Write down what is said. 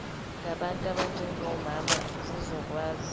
ngabantu abanjengomama zizokwazi